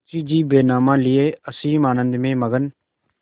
मुंशीजी बैनामा लिये असीम आनंद में मग्न